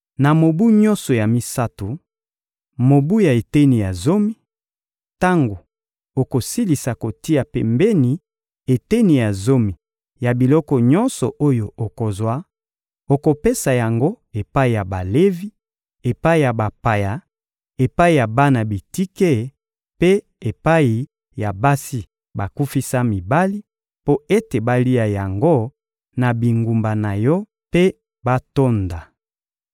Na mobu nyonso ya misato, mobu ya eteni ya zomi, tango okosilisa kotia pembeni eteni ya zomi ya biloko nyonso oyo okozwa, okopesa yango epai ya Balevi, epai ya bapaya, epai ya bana bitike mpe epai ya basi bakufisa mibali; mpo ete balia yango na bingumba na yo mpe batonda.